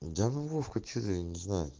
да ну вовка че ты не знаю